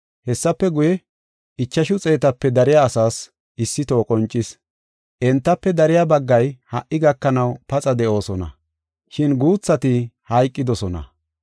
Hessafe guye, ichashu xeetape dariya asaas issitoho qoncis. Entafe dariya baggay ha77i gakanaw paxa de7oosona, shin guuthati hayqidosona.